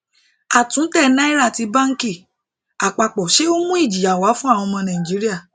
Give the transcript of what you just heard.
a tún tẹ náírà tí banki apapo ṣe ó mú ìjìyà wá fún àwọn ọmọ naijiria